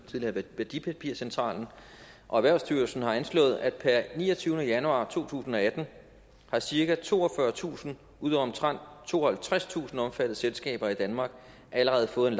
tidligere værdipapircentralen og erhvervsstyrelsen har anslået at per niogtyvende januar to tusind og atten har cirka toogfyrretusind ud af omtrent tooghalvtredstusind omfattede selskaber i danmark allerede fået en